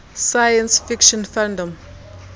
science fiction fandom